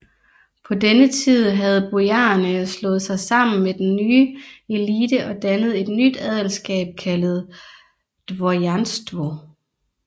På denne tid havde bojarerne slået sig sammen med den nye elite og dannede et nyt adelskab kaldet dvorjanstvo